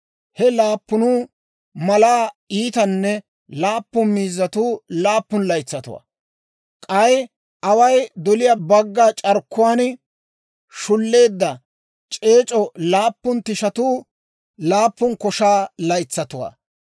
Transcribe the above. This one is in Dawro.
He laappun malaa iitanne laafa miizzatuu laappun laytsatuwaa; k'ay away doliyaa bagga c'arkkuwaan shulleedda, c'eec'o laappun tishatuu laappun koshaa laytsatuwaa.